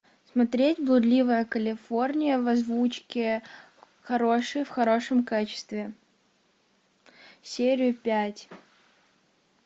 смотреть блудливая калифорния в озвучке хорошей в хорошем качестве серию пять